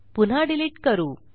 पुन्हा डिलिट करू